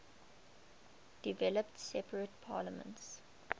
developed separate parliaments